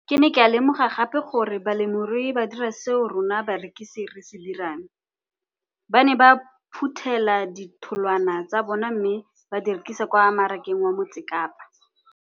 Ke ne ka lemoga gape gore balemirui ba dira seo rona barekisi re se dirang, ba ne ba phuthela ditholwana tsa bona mme ba di rekisa kwa marakeng wa Motsekapa.